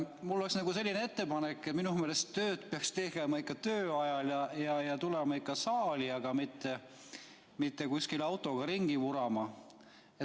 Mul on selline ettepanek, et minu meelest peaks tööd tegema ikka töö ajal ja tulema siia saali, mitte kuskil autoga ringi vurama.